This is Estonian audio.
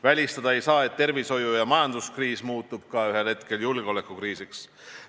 Välistada ei saa, et tervishoiu- ja majanduskriis muutub ühel hetkel ka julgeolekukriisiks.